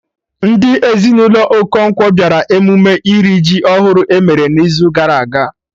Ndị ezinụlọ Okonkwo bịara emume iri ji ọhụrụ emere n'izu gara aga